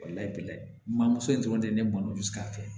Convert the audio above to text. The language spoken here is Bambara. Walayi lamamuso in dɔrɔn tɛ ne bolo bi sika fɛ